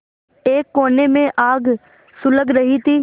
एक कोने में आग सुलग रही थी